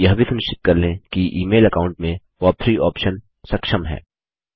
आप यह भी सुनिश्चित कर लें कि ईमेल अकाऊंट में पॉप3 आप्शन सक्षम है